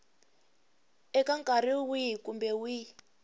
eka nkarhi wihi kumbe wihi